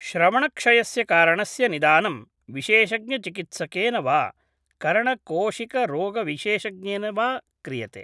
श्रवणक्षयस्य कारणस्य निदानं विशेषज्ञचिकित्सकेन वा कर्णकोशिकरोगविशेषज्ञेन वा क्रियते ।